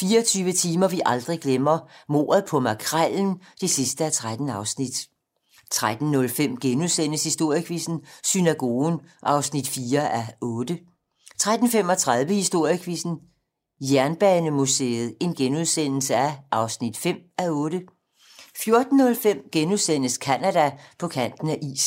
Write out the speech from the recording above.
24 timer, vi aldrig glemmer: Mordet på Makrellen (13:13) 13:05: Historiequizzen: Synagogen (4:8)* 13:35: Historiequizzen: Jernbanemuseet (5:8)* 14:05: Canada: På kanten af isen *